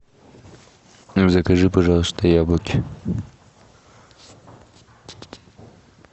закажи пожалуйста яблоки